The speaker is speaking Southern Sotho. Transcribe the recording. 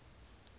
batshwaruwa